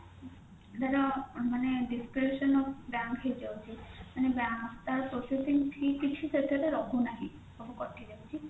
ତାର ମାନେ description of bank ହେଇଯାଉଛି ମାନେ ତାର processing fee କିଛି ସେଥିରେ ରହୁନାହିଁ ସବୁ କଟି ଯାଉଛି